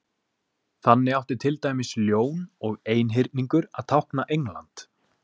Þannig átti til dæmis Ljón og Einhyrningur að tákna England.